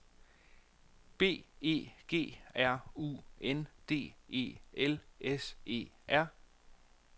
B E G R U N D E L S E R